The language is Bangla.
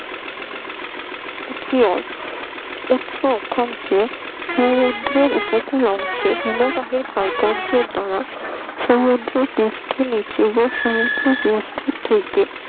ক্ষীয়ত একটি অক্ষাংশে সমুদ্রের উপকূল অংশে হিমবাহের ক্ষয় কার্যের দ্বারা সমুদ্রপৃষ্ঠের নিচে বা সমুদ্রপৃষ্ঠ থেকে